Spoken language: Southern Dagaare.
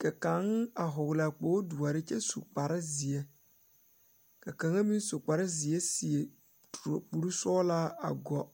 ka. kaŋ a hɔglaa kpogdoɔre kyɛ su kparezeɛ ka kaŋa meŋ su kparezeɛ seɛ kurisɔglaa a gu.